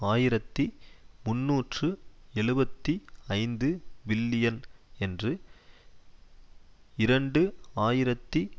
ஆயிரத்தி முன்னூற்று எழுபத்தி ஐந்து பில்லியன் என்று இரண்டு ஆயிரத்தி